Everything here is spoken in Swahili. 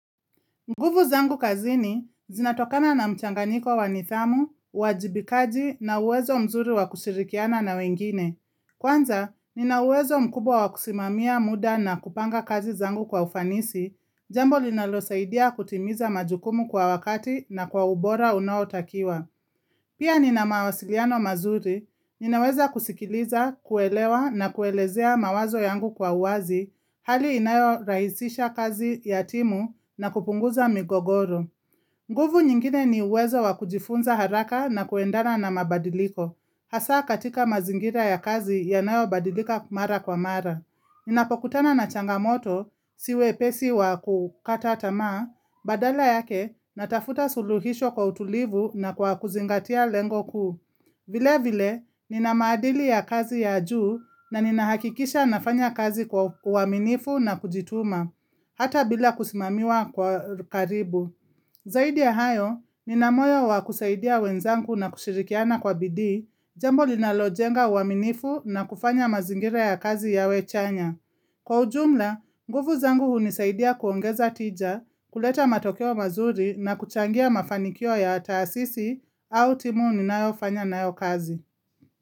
Nguvu zangu kazini, zinatokana na mchanganiko wa nidhamu, uwajibikaji na uwezo mzuri wa kushirikiana na wengine. Kwanza, nina uwezo mkubwa wa kusimamia muda na kupanga kazi zangu kwa ufanisi, jambo linalosaidia kutimiza majukumu kwa wakati na kwa ubora unaotakiwa. Pia nina mawasiliano mazuri, ninaweza kusikiliza, kuelewa na kuelezea mawazo yangu kwa uwazi, hali inayorahisisha kazi ya timu na kupunguza migogoro. Nguvu nyingine ni uwezo wa kujifunza haraka na kuendana na mabadiliko, hasa katika mazingira ya kazi yanayobadilika mara kwa mara. Ninapokutana na changamoto si wepesi wa kukata tamaa, badala yake natafuta suluhisho kwa utulivu na kwa kuzingatia lengo kuu. Vile vile, nina maadili ya kazi ya juu na ninahakikisha nafanya kazi kwa uaminifu na kujituma, hata bila kusimamiwa kwa karibu. Zaidi ya hayo, nina moyo wa kusaidia wenzangu na kushirikiana kwa bidii, jambo linalojenga uaminifu na kufanya mazingira ya kazi yawe chanya. Kwa ujumla, nguvu zangu hunisaidia kuongeza tija, kuleta matokeo mazuri na kuchangia mafanikio ya taasisi au timu ninayofanya nayo kazi.